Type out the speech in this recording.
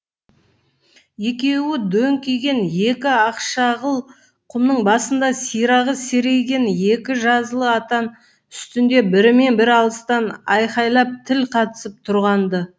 екеуі дөңкиген екі ақшағыл құмның басында сирағы серейген екі жазылы атан үстінде бірімен бірі алыстан айқайлап тіл қатысып тұрған ды